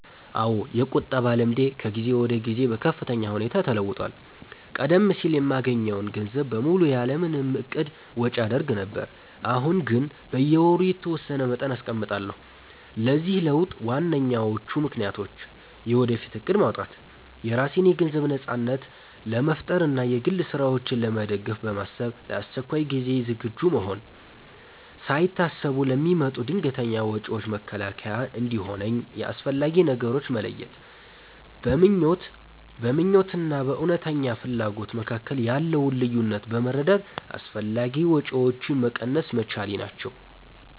አዎ፣ የቁጠባ ልምዴ ከጊዜ ወደ ጊዜ በከፍተኛ ሁኔታ ተለውጧል። ቀደም ሲል የማገኘውን ገንዘብ በሙሉ ያለ ምንም እቅድ ወጪ አደርግ ነበር፤ አሁን ግን በየወሩ የተወሰነ መጠን አስቀምጣለሁ። ለዚህ ለውጥ ዋነኞቹ ምክንያቶች፦ የወደፊት እቅድ ማውጣት፦ የራሴን የገንዘብ ነጻነት ለመፍጠር እና የግል ስራዎቼን ለመደገፍ በማሰብ፣ ለአስቸኳይ ጊዜ ዝግጁ መሆን፦ ሳይታሰቡ ለሚመጡ ድንገተኛ ወጪዎች መከላከያ እንዲሆነኝ፣ የአስፈላጊ ነገሮች መለየት፦ በምኞት እና በእውነተኛ ፍላጎት መካከል ያለውን ልዩነት በመረዳት አላስፈላጊ ወጪዎችን መቀነስ መቻሌ ናቸው።